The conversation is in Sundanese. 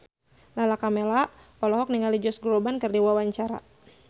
Lala Karmela olohok ningali Josh Groban keur diwawancara